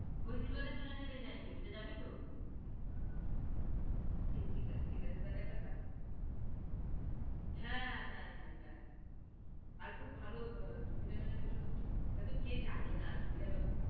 ঐ দিলওয়ালে দুলহানিয়া লে জায়েঙ্গে, ঐটা যাবি তো? ঠিক, ঠিক আছে ঠিক আছে তাইলে একটা কাজ~ হ্যাঁ হ্যাঁ হ্যাঁ। আর খুব ভালো ছবি টার বিষয় না, এটাতো কে জানে না ছবি টা